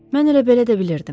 Mən elə belə də bilirdim.